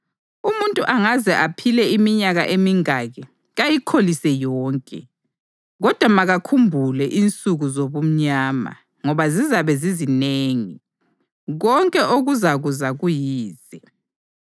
Umuntu angaze aphile iminyaka emingaki, kayikholise yonke. Kodwa makakhumbule insuku zobumnyama, ngoba zizabe zizinengi. Konke okuzakuza kuyize.